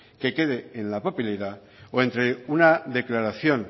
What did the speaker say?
que quede en la papelera o entre una declaración